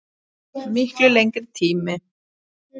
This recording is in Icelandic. Miklu lengri tíma.